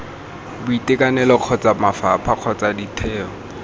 boitekanelo kgotsa mafapha kgotsa ditheo